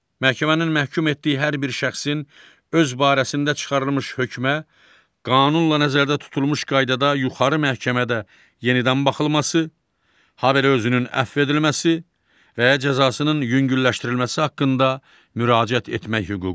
Məhkəmənin məhkum etdiyi hər bir şəxsin öz barəsində çıxarılmış hökmə qanunla nəzərdə tutulmuş qaydada yuxarı məhkəmədə yenidən baxılması, habelə özünün əfv edilməsi və cəzasının yüngülləşdirilməsi haqqında müraciət etmək hüququ vardır.